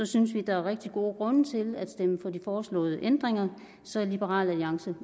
synes vi der er rigtig gode grunde til at stemme for de foreslåede ændringer så liberal alliance